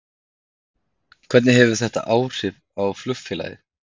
Hvernig hefur þetta haft áhrif á flugfélagið?